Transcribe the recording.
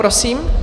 Prosím.